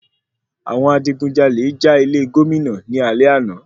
Àwọn adigunjalè jà ilé Gómìnà ní alé àná.